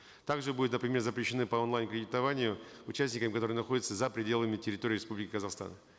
также будут например запрещены по онлайн кредитованию участникам которые находятся за пределами территории республики казахстан